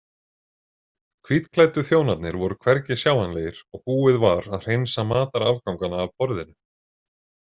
Hvítklæddu þjónarnir voru hvergi sjáanlegir og búið var að hreinsa matarafgangana af borðinu.